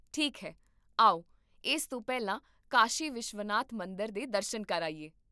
ਠੀਕ ਹੈ, ਆਓ ਇਸ ਤੋਂ ਪਹਿਲਾਂ ਕਾਸ਼ੀ ਵਿਸ਼ਵਨਾਥ ਮੰਦਰ ਦੇ ਦਰਸ਼ਨ ਕਰ ਆਈਏ